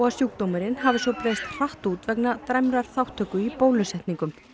að sjúkdómurinn hafi svo breiðst hratt út vegna dræmrar þátttöku í bólusetningum